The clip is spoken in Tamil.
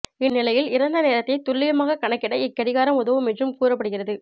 இந்நிலையில் இறந்த நேரத்தை துல்லியமாக கணக்கிட இக்கடிகாரம் உதவும் என்றும் கூற்ப்படுகிறது